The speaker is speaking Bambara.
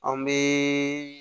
An bɛ